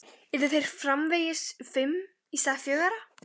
Yrðu þeir framvegis fimm í stað fjögurra?